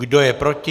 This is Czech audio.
Kdo je proti?